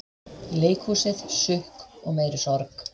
Leikhúsið, sukk og meiri sorg